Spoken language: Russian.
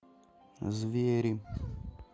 звери